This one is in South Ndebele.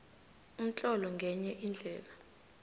umtlolo ngenye indlela